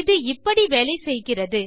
இது இப்படி வேலை செய்கிறது